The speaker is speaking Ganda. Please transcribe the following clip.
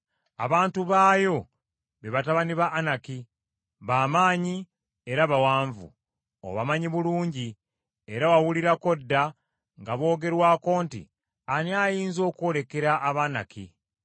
Abantu baayo be batabani ba Anaki, ba maanyi era bawanvu. Obamanyi bulungi, era wawulirako dda nga boogerwako nti, “Ani ayinza okwolekera Abanaki?”